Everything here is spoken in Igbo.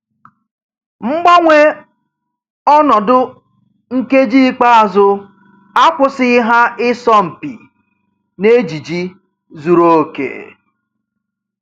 Mgbanwe ọnọdụ nkeji ikpeazụ akwụsịghị ha ịsọ mpi n'ejiji zuru oke.